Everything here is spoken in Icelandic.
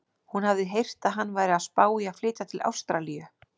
Hún hafði heyrt að hann væri að spá í að flytja til Ástralíu.